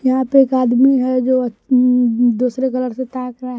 यहां पर एक आदमी है जो दूसरे कलर ।